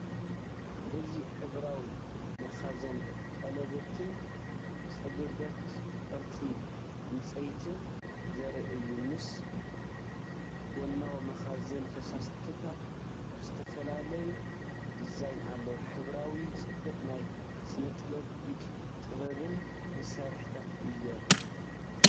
እዚ ሕብራዊ መኽዘን ቀለቤትን ጸበብቲ ቅርጺ ዕንጸይቲን ዘርኢ እዩ። ምስ ጎናዊ መኽዘን ፈሳሲታት ብዝተፈላለየ ዲዛይን ኣለዎ። ሕብራዊ ጽባቐ ናይ ስነጥበብን ኢደ ጥበብን መሳርሒታት እዮም።